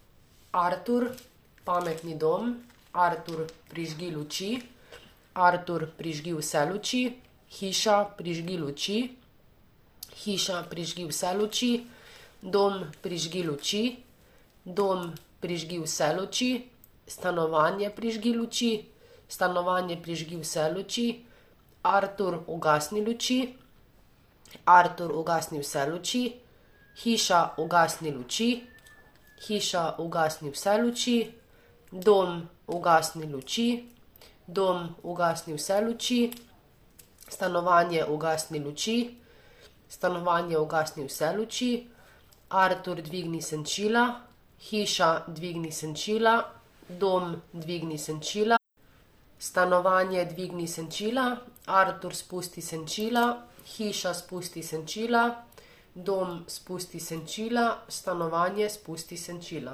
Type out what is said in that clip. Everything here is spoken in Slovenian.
Artur. Pametni dom. Artur, prižgi luči. Artur, prižgi vse luči. Hiša, prižgi luči. Hiša, prižgi vse luči. Dom, prižgi luči. Dom, prižgi vse luči. Stanovanje, prižgi luči. Stanovanje, prižgi vse luči. Artur, ugasni luči. Artur, ugasni vse luči. Hiša, ugasni luči. Hiša, ugasni vse luči. Dom, ugasni luči. Dom, ugasni vse luči. Stanovanje, ugasni luči. Stanovanje, ugasni vse luči. Artur, dvigni senčila. Hiša, dvigni senčila. Dom, dvigni senčila. Stanovanje, dvigni senčila. Artur, spusti senčila. Hiša, spusti senčila. Dom, spusti senčila. Stanovanje, spusti senčila.